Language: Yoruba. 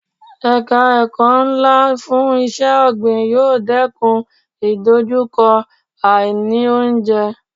Ẹ̀ka ẹ̀kọ́ ńlá fún iṣẹ́ ọ̀gbìn yóò dẹ́kun ìdojúkọ àì ní oúnjẹ.